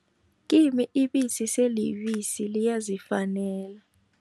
Kimi ibisi selibisi liyazifanela.